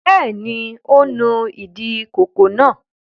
Bẹ́ẹ̀ ni, ó nu ìdí ìkókó náà.